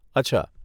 અચ્છા.